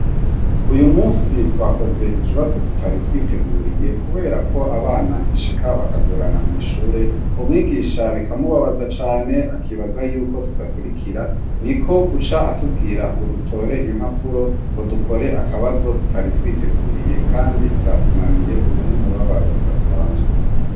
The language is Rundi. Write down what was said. Uyumusi twakoze ikibazo tutari twiteguriye kuberako abana bishika bakagorana mwishure umwigisha bikamubabaza cane akibaza ko tudakurikira niko guca atubwira ngo dutore impapuro dukore akabazo tutari twiteguriye kandi vyatunaniye ubu numubabaro udasanzwe.